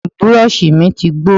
Burọ̀ṣì mi ti gbó